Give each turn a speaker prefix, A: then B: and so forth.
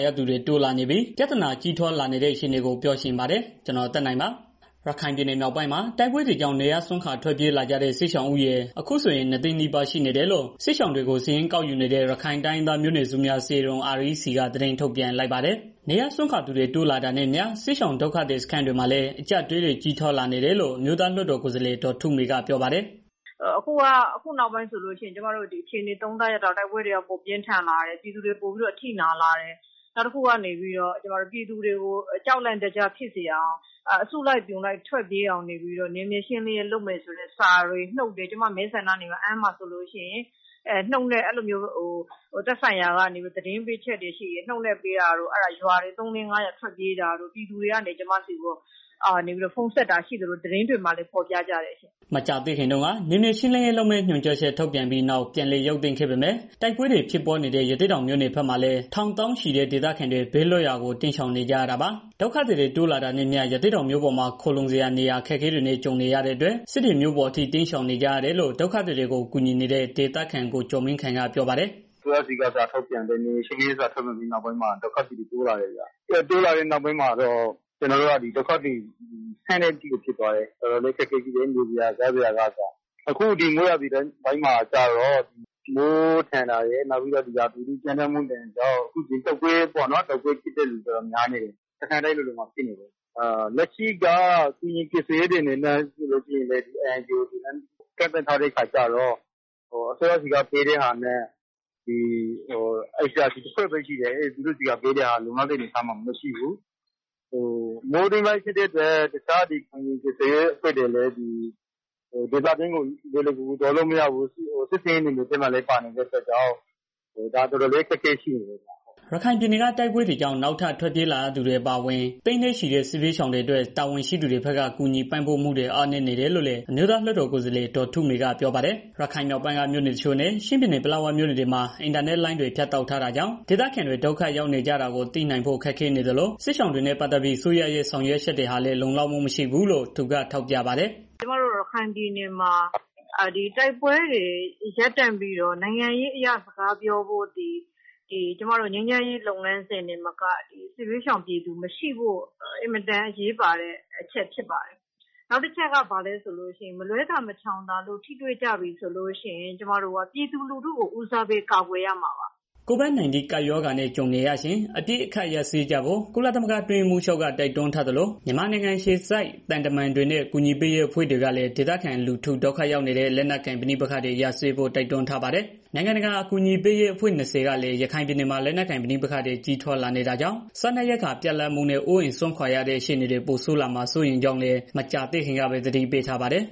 A: ရသူတွေ တိုးလာနေတဲ့ ပြဿနာကြီးထွားလာနေတဲ့ အခြေအနေကို ပြောပြပေးချင်ပါတယ်။ ဗွီအိုအေမြန်မာပိုင်းသတင်းထောက် ကိုသက်နိုင်က သတင်းပေးပို့ထားပါတယ်။ ရခိုင်ပြည်နယ်မြောက်ပိုင်းမှာ တိုက်ပွဲတွေကြောင့် နေရပ်စွန့်ခွာ ထွက်ပြေးနေကြရတဲ့ စစ်ရှာင်ဦးရေ အခုဆိုရင် ၂၀၀,၀၀၀ နီးပါးရှိနေတယ်လို့ စစ်ရှောင်တွေကို စာရင်းကောက်ယူနေတဲ့ ရခိုင်တိုင်းရင်းသားမျိုးနွယ်စုများ အစည်းအရုံး REC က သတင်းထုတ်ပြန်လိုက်ပါတယ်။ နေရပ်စွန့်ခွာသူတွေ တိုးလာတာနဲ့အမျှ စစ်ရှောင်ဒုက္ခသည် စခန်းတွေမှာလည်း အကျပ်အတည်းတွေ ကြီးထွားလာနေတယ်လို့ အမျိုးသားလွှတ်တော် ကိုယ်စားလှယ် ဒေါ်ထုမေ ကပြောပါတယ်။
B: "အခုနောက်ပိုင်းအခြေအနေ သုံးသပ်ရသလောက်ကတော့ တိုက်ပွဲတွေက ပိုမိုပြင်းထန်လာတယ်။ ပြည်သူတွေ ပိုပြီးတော့ အထိနာလာတယ်။ နောက်တစ်ခုကနေပြီးတော့ ပြည်သူတွေကို ကြောက်လန့် တကြားဖြစ်အောင် အစုလိုက် အပြုံလိုက်ထွက်ပြေးအောင်နေပြီးတော့ နေမြေရှင်းလင်းရေး လုပ်မယ်ဆိုတဲ့ စာတွေ၊ နှုတ်တွေ ကျမ မဲဆန္ဒနယ် အမ်းမှာဆိုလို့ရှိရင် နှုတ်နဲ့ အဲလိုမျိုး သက်ဆိုင်ရာကနေပြီးတော့ သတင်းပေးချက်တွေ ရှိတယ်။ နှုတ်နဲ့ ပေးတော့ ရွာတွေ ၄ ရွာလောက်ထွက်ပြေးတာတို့ ပြည်သူတွေကနေ ကျမဆီကို ဖုန်းဆက်တာရှိသလို သတင်းတွေမှာလည်း ဖော်ပြကြတယ်ရှင့်
A: ။" မကြာသေးခင်တုန်းက နယ်မြေရှင်းလင်းရေးလုပ်မယ့် ညွှန်ကြားချက် ထုတ်ပြန်ပြီးနောက် ပြန်လည်ရုပ်သိမ်းခဲ့ပေမဲ့ တိုက်ပွဲတွေ ဖြစ်ပွားနေတဲ့ ရသေ့တောင်မြို့နယ်ဘက်မှာလည်း ထောင်သောင်းချီတဲ့ ဒေသခံတွေ ဘေးလွတ်ရာ တိမ်းရှောင်နေကြရတာပါ။ ဒုက္ခသည်တွေ တိုးလာတာနဲ့အမျှ ရသေ့တောင်မြို့ပေါ်မှာ ခိုလှုံစရာနေရာ အခက်အခဲတွေနဲ့ ကြုံနေရတဲ့အတွက် စစ်တွေမြို့ပေါ်အထိ တိမ်းရှောင်နေကြရတယ်လို့လည်း ဒုက္ခသည်တွေကို ကူညီနေတဲ့ ဒေသခံ ကိုကျော်မင်းခိုင်က ပြောပါတယ်။
C: "အစိုးရဆီက နေမြေရှင်းလင်းရေး စာထုတ်ပြန်ပြီးနောက်ပိုင်းမှာ ဒုက္ခသည်တွေက ပိုတိုးလာတယ်ဗျာ။ ပိုတိုးလာတော့ ကျနော်တို့ဆီမှာ ဒုက္ခသည်မဆန့်တဲ့ အထိကိုဖြစ်သွားတယ်။ နေစရာ၊ စားစရာကအစ တော်တော်လေးကို အခက်အခဲရှိတယ်။ အခုဒီမိုးရာသီ ပိုင်းမှာကျတော့ မိုးထန်တာရယ်၊ နောက်ဒီရာသီဥတု ကြမ်းတမ်းမှုဒဏ်တွေကြောင့် အခုဒီတုတ်ကွေးဖြစ်တဲ့ လူတော်တော်များနေတယ်။ စခန်းတိုင်းလိုလိုမှာ ဖြစ်နေတယ်။ လက်ရှိက ကူညီကယ်ဆယ်ရေးတွေ အနေနဲ့ဆိုလို့ရှိရင်လည်း ကန့်သတ်ထားတဲ့ အခါကျတော့ အစိုးရဆီကပေးတဲ့ဟာနဲ့ ICRC က ပေးတဲ့ဟာလောက်ပဲ ရှိတယ်။ သူတို့ဆီကပေးတဲ့ဟာလည်း လုံလောက်တဲ့ အနေအထားမှာမရှိဘူး။ တခြား ကူညီရေးအဖွဲ့တွေလည်း သွားလို့မရဘူး စစ်ဆင်ရေးနယ်မြေထဲမှာ ပါနေတော့ တော်တော်လည်း အခက်အခဲဖြစ်နေတယ်ဗျာ။"
A: ရခိုင်ပြည်နယ်က တိုက်ပွဲတွေကြောင့် နောက်ထပ်ထွက်ပြေးလာရသူတွေ အပါအဝင် သိန်းနဲ့ချီတဲ့ စစ်ဘေးရှောင်တွေအတွက် တာဝန်ရှိသူတွေဘက်က ကူညီပံ့ပိုးမှုတွေ အားနည်းနေတယ်လို့လည်း အမျိုးသားလွှတ်တော်ကိုယ်စားလှယ် ဒေါ်ထုမေက ပြောပါတယ်။ ရခိုင်မြောက်ပိုင်းက မြို့နယ်တချို့နဲ့ ချင်းပြည်နယ် ပလက်ဝမြို့နယ်တွေမှာ အင်တာနက်လိုင်းတွေဖြတ် တောက်ထားတာကြောင့် ဒေသခံတွေ ဒုက္ခရောက်နေကြတာကို သိနိုင်ဖို့ခက်ခဲနေသလို စစ်ရှောင်တွေနဲ့ ပတ်သတ်ပြီး အစိုးရရဲ့ ဆောင်ရွက်ချက်တွေဟာလည်း လုံလောက်မှုမရှိဘူးလို့ သူထောက်ပြပါတယ်။
B: "ကျမတို့ ရခိုင်ပြည်နယ်မှာ တိုက်ပွဲတွေ ရပ်တန့်ပြီးတော့ နိုင်ငံရေးအရ စကားပြောဖို့ ဒီငြိမ်းချမ်းရေး လုပ်ငန်းစဉ်တွေမက စစ်ဘေးရှောင်ပြည်သူတွေ မရှိဖို့ အမတန်အရေးပါတဲ့ အချက်ဖြစ်ပါတယ်။ နောက်တစ်ချက်က ဘာလဲဆိုတော့ မလွဲသာ မရှောင်သာလို့ ထိတွေ့ကြပြီဆိုလို့ရှိရင် ကျမတို့ ပြည်သူလူထုကို ဦးစားပေးကာကွယ်ရမှာပါ။
A: " COVID-19 ကပ်ရောဂါနဲ့ ကြုံနေရချိန် အပစ်အခတ်ရပ်စဲကြဖို့ ကုလသမဂ္ဂ အတွင်းရေးမှူးချုပ်က တိုက်တွန်းထားသလို မြန်မာနိုင်ငံ အခြေစိုက် သံတမန်တွေနဲ့ အကူအညီပေးရေး အဖွဲ့တွေကလည်း ဒေသခံလူထု ဒုက္ခရောက်နေရတဲ့ လက်နက်ကိုင်ပဋိပက္ခတွေ ရပ်စဲဖို့ တိုက်တွန်းထားပါတယ်။ နိုင်ငံတကာ အကူအညီပေးရေးအဖွဲ့ ၂၀ ကလည်း ရခိုင်ပြည်နယ်မှာ လက်နက်ကိုင် ပဋိပက္ခတွေ ကြီးထွား လာနေတာကြောင့် စားနပ်ရိက္ခာ ပြတ်လပ်မှုနဲ့ အိုးအိမ်စွန့်ခွာရတဲ့ အခြေအနေတွေ ပိုဆိုးလာမှာ စိုးရိမ်ကြောင်းလည်း မကြာသေးခင်ကပဲ သတိပေးထားပါတယ်